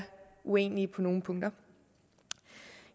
uenige på nogle punkter